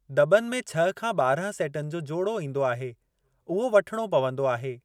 दॿनि में छह खां ॿारहं सेटनि जो जोड़ो ईंदो आहे उहो वठणो पवंदो आहे।